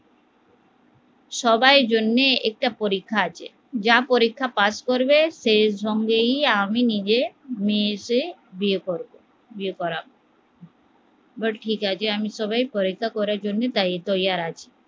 সবাই জন্যে একটা পরীক্ষা আছে, যা পরীক্ষায় পাস করবে সেই সঙ্গেই আমি নিজের মেয়েকে বিয়ে করবো বিয়ে করাবো ঠিক আছে আমি সবার পরীক্ষার জন্য তৈয়ার আছি